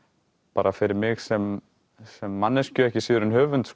bara fyrir mig sem sem manneskju ekki síður en höfund